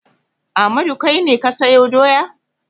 Ahmadu kai ne ka sayo doya?